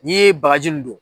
N'i ye baji nin don